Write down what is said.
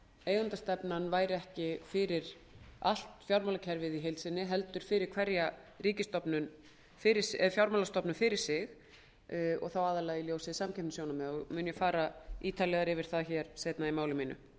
eigendastefnan væri ekki fyrir allt fjármálakerfið í heild sinni heldur fyrir hverja fjármálastofnun fyrir sig og þá aðallega í ljósi samkeppnissjónarmiða mun ég fara ítarlegar yfir það seinna í máli mínu